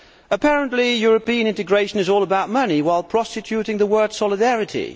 Apparently European integration is all about money while prostituting the word solidarity'.